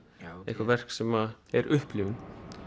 eitthvað verk sem er upplifun